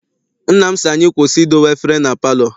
Nna m sị anyị kwụsị idowe efere na palọ.